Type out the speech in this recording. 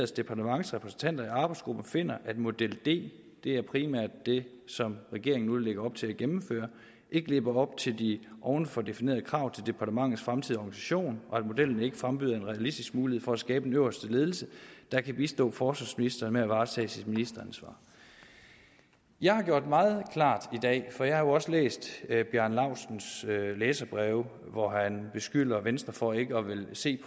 departements repræsentanter i arbejdsgruppen finder at model d det er primært det som regeringen nu lægger op til at gennemføre ikke lever op til de ovenfor definerede krav til departementets fremtidige organisation og at modellen ikke frembyder en realistisk mulighed for at skabe en øverste ledelse der kan bistå forsvarsministeren med at varetage sit ministeransvar jeg har gjort meget klart i dag for jeg har jo også læst herre bjarne laustsens læserbreve hvori han beskylder venstre for ikke at ville se